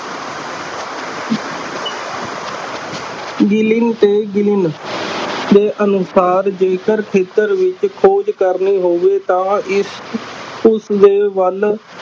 ਗਿਲਿਨ ਤੇ ਦੇ ਅਨੁਸਾਰ ਜੇਕਰ ਖੇਤਰ ਵਿੱਚ ਖੋਜ ਕਰਨੀ ਹੋਵੇ ਤਾਂ ਇਸ ਉਸਦੇ ਵੱਲ